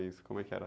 Como é que era?